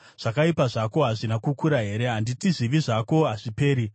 Zvakaipa zvako hazvina kukura here? Handiti zvivi zvako hazviperi?